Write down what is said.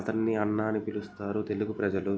అతన్ని అన్నా అని పిలుస్తారు తెలుగు ప్రజలు.